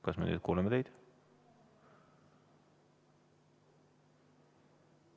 Kas me nüüd kuuleme teid?